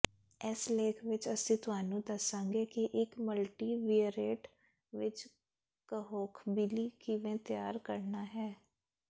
ਇਸ ਲੇਖ ਵਿਚ ਅਸੀਂ ਤੁਹਾਨੂੰ ਦੱਸਾਂਗੇ ਕਿ ਇਕ ਮਲਟੀਵਿਅਰਏਟ ਵਿਚ ਕਹੋਖਬੀਲੀ ਕਿਵੇਂ ਤਿਆਰ ਕਰਨਾ ਹੈ